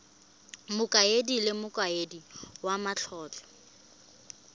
mokaedi le mokaedi wa matlotlo